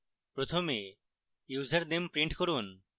প্রথমে username print করুন